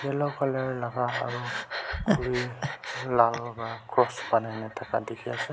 yellow colour laka aro khuri vra cross bunai na taka tiki ase.